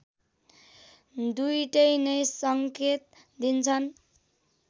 दुईटै नैं सङ्केत दिन्छन्